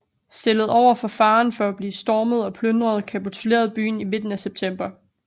Stillet over for faren for at blive stormet og plyndret kapitulerede byen i midten af september